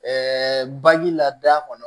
Ɛɛ baji la da kɔnɔ